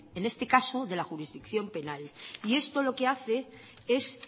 en este caso de la jurisdicción penal y esto lo que hace es